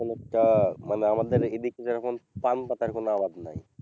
অনেকটা মানে আমাদের এদিকে যেরকম পান পাতার কোন আবাদ নাই।